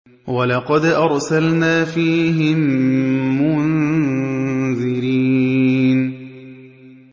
وَلَقَدْ أَرْسَلْنَا فِيهِم مُّنذِرِينَ